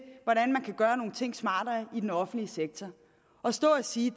hvordan man kan gøre nogle ting smartere i den offentlige sektor at stå at sige